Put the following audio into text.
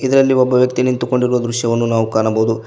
ಇದರಲ್ಲಿ ಒಬ್ಬ ವ್ಯಕ್ತಿ ನಿಂತುಕೊಂಡಿರುವ ದೃಶ್ಯವನ್ನು ನಾವು ಕಾಣಬಹುದು.